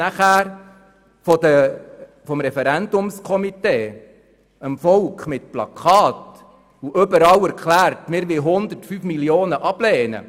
Aber das Referendumskomitee hat danach dem Volk mit Plakaten überall erklärt, man wolle 105 Mio. Franken ablehnen.